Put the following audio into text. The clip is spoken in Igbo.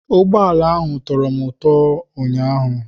Ụgbọ ala ahụ tọrọ m ụtọ ụnyaahụ.